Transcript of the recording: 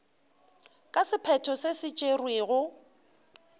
ka sephetho se se tšerwego